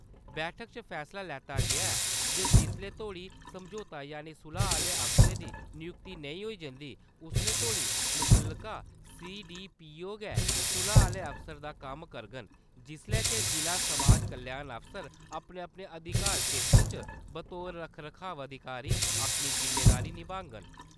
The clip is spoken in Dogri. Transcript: बैठक च फैसला लैता गेआ ऐ जे जिस्सलै तोड़ी समझौते यानि सुलह आहले अफसर दी नियुक्ति नेंई होई जंदी उस्सलै तोड़ी मुत्तल्लका सीडीपीओ गै सुलह आहले अफसर दा कम्म करङन जिल्लै के ज़िला समाज कल्याण अफसर अपने-अपने अधिकार क्षेत्र च बतौर रखा-रखाऽ अधिकारी अपनी ज़िम्मेदारी, निभागंन ।